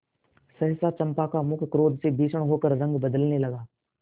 सहसा चंपा का मुख क्रोध से भीषण होकर रंग बदलने लगा